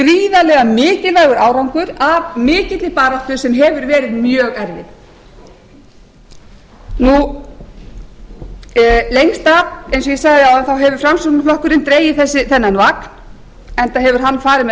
er gríðarlega mikilvægur árangur af mikilli baráttu sem hefur verið mjög erfið eins og ég sagði áðan hefur framsóknarflokkurinn lengst af dregið þennan vagn enda hefur hann farið með